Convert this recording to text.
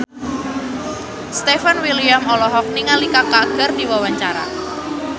Stefan William olohok ningali Kaka keur diwawancara